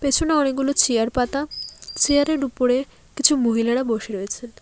পেছনে অনেকগুলো চেয়ার পাতা চেয়ার -এর উপরে কিছু মহিলারা বসে রয়েছে।